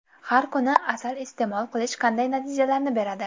Har kuni asal iste’mol qilish qanday natijalarni beradi?